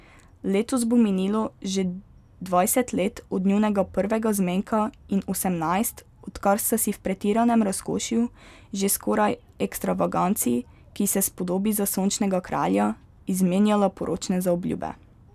Letos bo minilo že dvajset let od njunega prvega zmenka in osemnajst, odkar sta si v pretiranem razkošju, že skoraj ekstravaganci, ki se spodobi za Sončnega kralja, izmenjala poročne zaobljube.